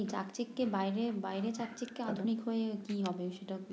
চাকচিক্যে বাইরে বাইরে চাকচিক্যে আধুনিক হয়ে কি হবে